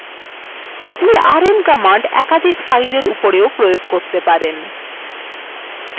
আপনি rm command একাধিক fileswe উপরেও প্রয়োগ করতে পারেন